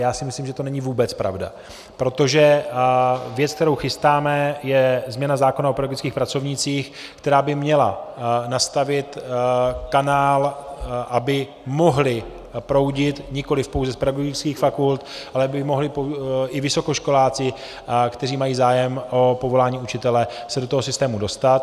Já si myslím, že to není vůbec pravda, protože věc, kterou chystáme, je změna zákona o pedagogických pracovnících, která by měla nastavit kanál, aby mohli proudit, nikoliv pouze z pedagogických fakult, ale aby mohli i vysokoškoláci, kteří mají zájem o povolání učitele, se do toho systému dostat.